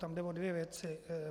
Tam jde o dvě věci.